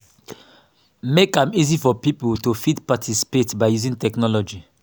make am easy for pipo to fit participate by using technology